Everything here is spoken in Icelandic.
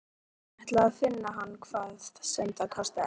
Hann ætlaði að finna hann hvað sem það kostaði.